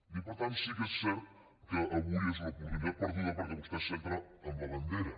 i per tant sí que és cert que avui és una oportunitat perduda perquè vostè es centra en la bandera